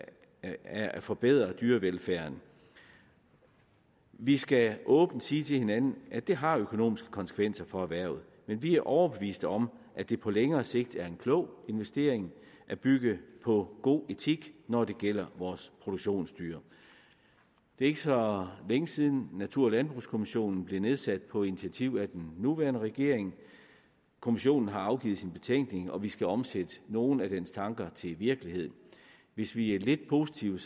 at forbedre dyrevelfærden vi skal åbent sige til hinanden at det har økonomiske konsekvenser for erhvervet men vi er overbeviste om at det på længere sigt er en klog investering at bygge på god etik når det gælder vores produktionsdyr det er ikke så længe siden natur og landbrugskommissionen blev nedsat på initiativ af den nuværende regering kommissionen har afgivet sin betænkning og vi skal omsætte nogle af dens tanker til virkelighed hvis vi er lidt positive